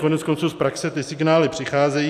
Koneckonců z praxe ty signály přicházejí.